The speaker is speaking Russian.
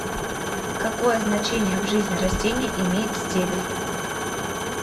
какое значение в жизни растения имеет стебель